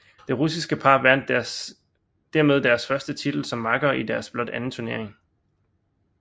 Det russiske par vandt dermed deres første titel som makkere i deres blot anden turnering